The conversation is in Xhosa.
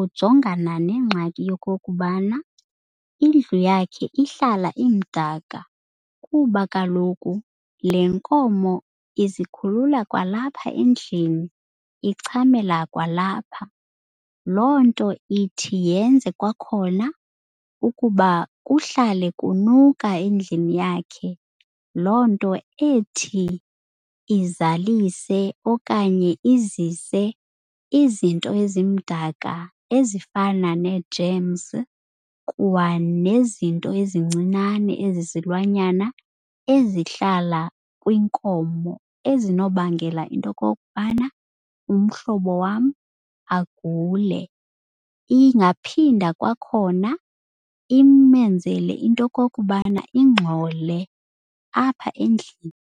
ujongana nengxaki yokokubana indlu yakhe ihlala imdaka kuba kaloku le nkomo izikhulula kwalapha endlini, ichamela kwalapha. Loo nto ithi yenze kwakhona ukuba kuhlale kunuka endlini yakhe. Loo nto ethi izalise okanye izise izinto ezimdaka ezifana nee-germs kwanezinto ezincinane ezizilwanyana ezihlala kwinkomo ezinobangela into yokokubana umhlobo wam agule. Ingaphinda kwakhona imenzele into yokokubana ingxole apha endlini.